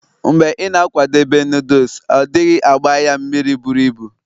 mgbe ị na-akwadebe noodles, ọ dịghị agbai ya mmiri buru ibu